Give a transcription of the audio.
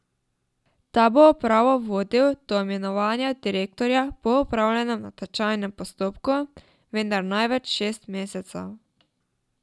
Ta bo upravo vodil do imenovanja direktorja po opravljenem natečajnem postopku, vendar največ šest mesecev.